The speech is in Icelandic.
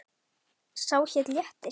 Sá hét Léttir.